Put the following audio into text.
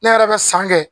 Ne yɛrɛ bɛ san kɛ